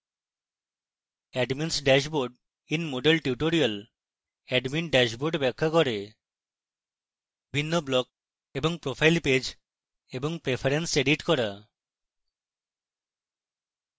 admins dashboard in moodle tutorial admin dashboard ব্যাখ্যা করে